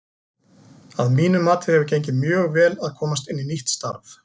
Að mínu mati hefur gengið mjög vel að komast inn í nýtt starf.